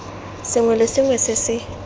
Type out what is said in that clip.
sengwe le sengwe se se